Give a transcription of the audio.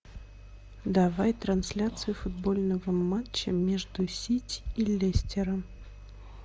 давай трансляцию футбольного матча между сити и лестером